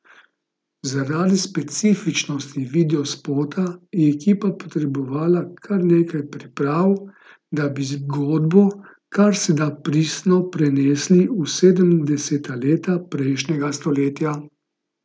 Zaradi specifičnosti videospota je ekipa potrebovala kar nekaj priprav, da bi zgodbo kar se da pristno prenesli v sedemdeseta leta prejšnjega stoletja.